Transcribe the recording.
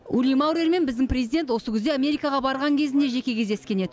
ули маурермен біздің президент осы күзде америкаға барған кезінде жеке кездескен еді